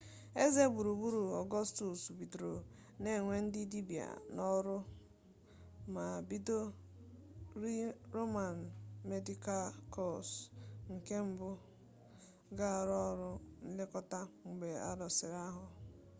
eze gburugburu ọgọstus bidoro na-ewe ndị dibia n'ọrụ ma bido rịị roman medịkal kọọz nke mbụ ga-arụ ọrụ nlekọta mgbe alụsiri agha